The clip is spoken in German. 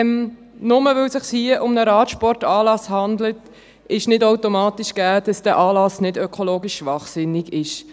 Nur weil es sich hier um einen Radsportanlass handelt, ist nicht automatisch gegeben, dass dieser Anlass ökologisch nicht schwachsinnig ist.